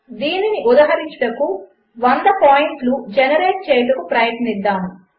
దీనినిఉదహరించుటకు 100 పాయింట్లుజెనరేట్చేయుటకుప్రయత్నిద్దాము